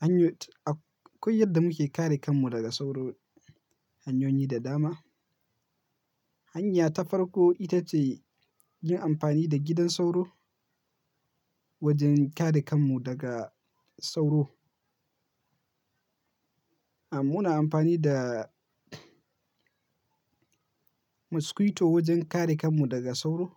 hanyoyi, akwai yadda muke kare kanmu daga sauro hanyoyi da dama. Hanya ta farko ita ce yin amfani da gidan sauro wajen kare kanmu daga sauro. Amm muna amfani da mosquito wajen kare kanmu daga sauro.